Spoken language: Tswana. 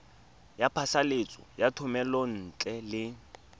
ya phasalatso ya thomelontle le